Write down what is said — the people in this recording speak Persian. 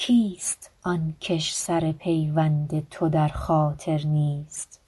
کیست آن کش سر پیوند تو در خاطر نیست